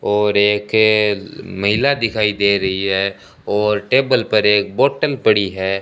और एक अ महिला दिखाई दे रही है और टेबल पर एक बोटल पड़ी है।